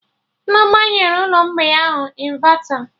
Nneoma nyere ụlọ mgbei ahụ ịnvata